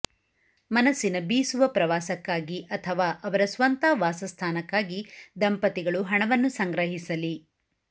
ಮನಸ್ಸಿನ ಬೀಸುವ ಪ್ರವಾಸಕ್ಕಾಗಿ ಅಥವಾ ಅವರ ಸ್ವಂತ ವಾಸಸ್ಥಾನಕ್ಕಾಗಿ ದಂಪತಿಗಳು ಹಣವನ್ನು ಸಂಗ್ರಹಿಸಲಿ